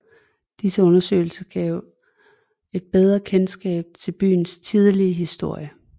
Disse undersøgelser gav et bedre kendskab til byens tidlige historie